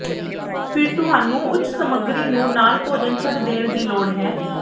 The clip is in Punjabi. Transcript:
ਫਿਰ ਤੁਹਾਨੂੰ ਉੱਚ ਚਰਬੀ ਸਮੱਗਰੀ ਨੂੰ ਨਾਲ ਭੋਜਨ ਛੱਡ ਦੇਣ ਦੀ ਲੋੜ ਹੈ